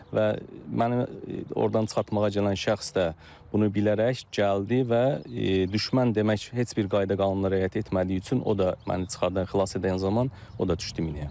Və mənə ordan çıxartmağa gələn şəxs də bunu bilərək gəldi və düşmən demək heç bir qayda qanunlara riayət etmədiyi üçün o da məni çıxardan, xilas edən zaman o da düşdü minəyə.